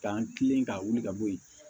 K'an kilen ka wuli ka bɔ yen